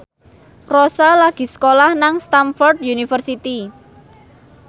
Rossa lagi sekolah nang Stamford University